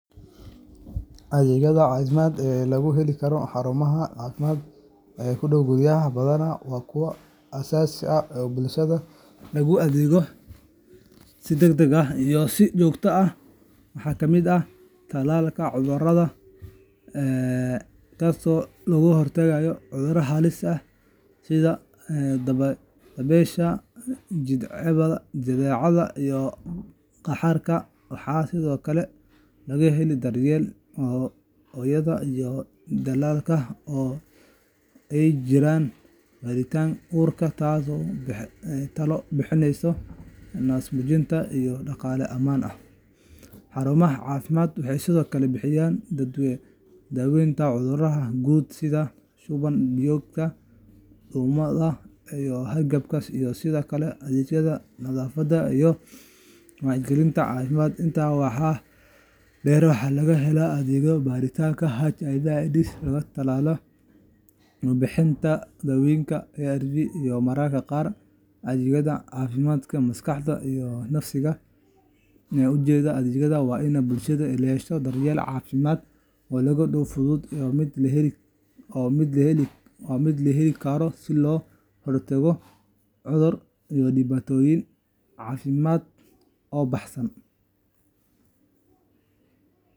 Adeegyada caafimaad ee laga heli karo xarumaha caafimaad ee ku dhow guryaha badanaa waa kuwa aasaasi ah oo bulshada loogu adeego si degdeg ah iyo si joogto ah. Waxaa ka mid ah tallaalka carruurta, kaasoo looga hortago cudurrada halista ah sida dabaysha, jadeecada, iyo qaaxada. Waxaa sidoo kale laga helaa daryeelka hooyada iyo dhallaanka oo ay ku jiraan baaritaanka uurka, talo bixinta naas-nuujinta, iyo dhalmada ammaan ah. Xarumaha caafimaadka waxay sidoo kale bixiyaan daaweynta cudurrada guud sida shuban-biyoodka, duumada, iyo hargabka, iyo sidoo kale adeegyada nadaafadda iyo wacyigelinta caafimaadka. Intaa waxaa dheer, waxaa laga helaa adeegyada baaritaanka HIV/AIDSka, la-talinta, iyo bixinta daawooyinka ARVska, iyo mararka qaar adeegyada caafimaadka maskaxda iyo nafsiga. Ujeeddada adeegyadaasi waa in bulshada ay hesho daryeel caafimaad oo dhow, fudud, iyo mid la heli karo si looga hortago cudurro iyo dhibaatooyin caafimaad oo baahsan.